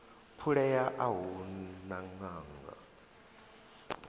phulea a hu na ṅanga